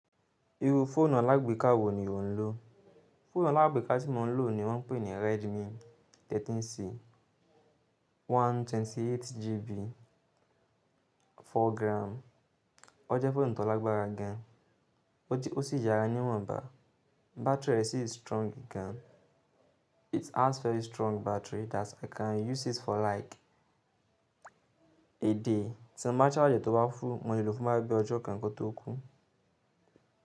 Iru fóònù alágbèéká wo ni ò ń lò? Fóònù alágbèéká tí mo ń lò ni wọ́n ń pè ní Redmi 13C 128GB 4gram. Ó jẹ́ fóònù tó lágbára gan, ó ti ó sì yára níwọ̀nba. Battery rẹ̀ sì strong gan. It has very strong battery that i can use it for like a day, tí mo bá charge ẹ̀ tó bá full, mo lè lò fún bóyá bí i ọjọ́ kan kó tó kú.